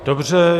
Dobře.